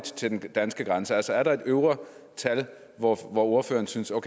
til den danske grænse altså er der et øvre tal hvor ordføreren synes at